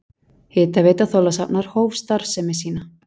Hitaveita Þorlákshafnar hóf starfsemi sína.